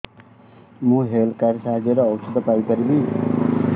ମୁଁ health card ସାହାଯ୍ୟରେ ଔଷଧ ପାଇ ପାରିବି